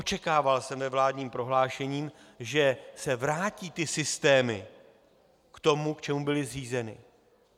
Očekával jsem ve vládním prohlášení, že se vrátí ty systémy k tomu, k čemu byly zřízeny.